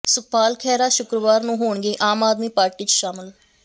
ਸੁਖਪਾਲ ਖੈਹਰਾ ਸ਼ੁੱਕਰਵਾਰ ਨੰੂ ਹੋਣਗੇ ਆਮ ਆਦਮੀ ਪਾਰਟੀ ਚ ਸ਼ਾਮਲ